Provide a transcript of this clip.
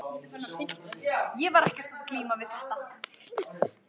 Ég var ekkert að glíma við þetta.